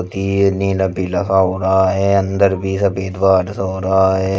ये नील सा हो रहा है अंदर भी सा हो रहा है।